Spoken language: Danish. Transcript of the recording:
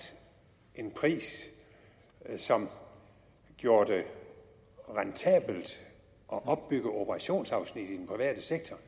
en pris som gjorde det rentabelt at opbygge operationsafsnit i den private sektor